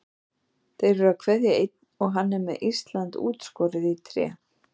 Þeir eru að kveðja einn og hann er með Ísland útskorið í tré.